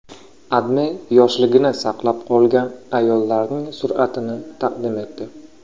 AdMe yoshligini saqlab qolgan ayollarning suratini taqdim etdi.